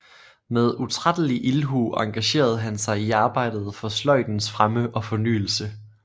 Med utrættelig ildhu engagerede han sig i arbejdet for sløjdens fremme og fornyelse